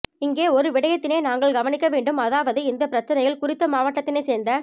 இங்கே ஒரு விடயத்தினை நாங்கள் கவனிக்க வேண்டும் அதாவது இந்த பிரச்சினையில் குறித்த மாவட்டத்தினை சேர்ந்த